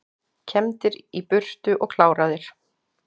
Kembdir í burtu og kláraðir